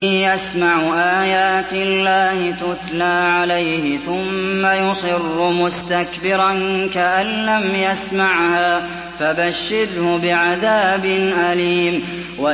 يَسْمَعُ آيَاتِ اللَّهِ تُتْلَىٰ عَلَيْهِ ثُمَّ يُصِرُّ مُسْتَكْبِرًا كَأَن لَّمْ يَسْمَعْهَا ۖ فَبَشِّرْهُ بِعَذَابٍ أَلِيمٍ